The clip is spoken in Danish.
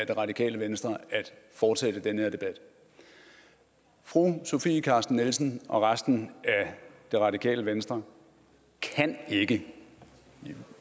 det radikale venstre at fortsætte den her debat fru sofie carsten nielsen og resten af det radikale venstre kan ikke det er